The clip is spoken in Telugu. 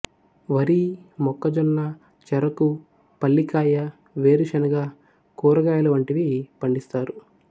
వరి మొక్కజొన్న చెరకు పల్లికాయ వేరుశనగ కూరగాయలు వంటివి పండిస్తారు